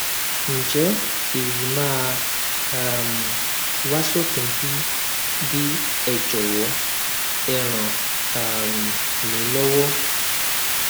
ǹjẹ èyí máa um wá sópin bí bí ẹ jọwọ ẹ ràn um mí lọwọ